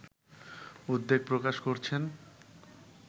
উদ্বেগ প্রকাশ করছেন